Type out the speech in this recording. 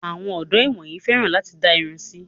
Àwọn ọdọ́ ìwòyìí fẹ́ràn láti dá irun sí.